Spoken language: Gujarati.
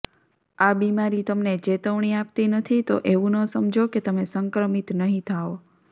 આ બીમારી તમને ચેતવણી આપતી નથી તો એવું ન સમજો કે તમે સંક્રમિત નહીં થાઓ